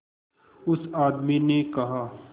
उस आदमी ने कहा